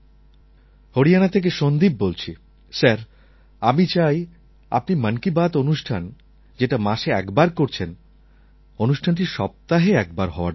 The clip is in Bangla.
হরিয়ানা থেকে সন্দীপ বলছি স্যার আমি চাই আপনি মন কি বাত অনুষ্ঠান যেটা মাসে একবার করছেন অনুষ্ঠানটি সপ্তাহে একবার হওয়ার দরকার